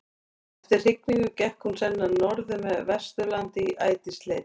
Eftir hrygningu gekk hún sennilega norður með Vesturlandi í ætisleit.